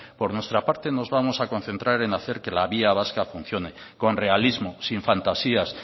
por nuestra parte nos vamos a concentrar en hacer que la vía vasca funcione con realismo sin fantasías